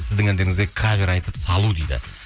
сіздің әндеріңізге кавер айтып салу дейді